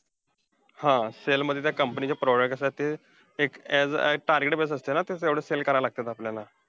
हा! sell मध्ये त्या company चे product असतात ते अं as एक target based असता ना, तसंच sell करायला लागत्यात आपल्याला.